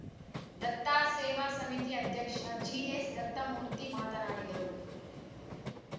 ದತ್ತಾ ಸೇವಾ ಸಮಿತಿ ಅಧ್ಯಕ್ಷ ಜಿಎಸ್‌ದತ್ತಮೂರ್ತಿ ಮಾತನಾಡಿದರು